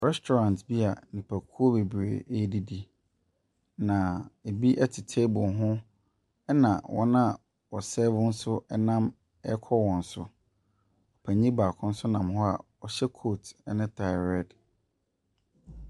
Restaurant bi a nnipakuo bebree ɛredidi, na bi te table, na wɔn a wɔsɛɛvo nso nam ɛrekɔ wɔn so. Panin baako nso gyina hɔ a ɔhyɛ kooti ne taae red.